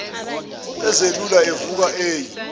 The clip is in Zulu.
ezelula evuka eyi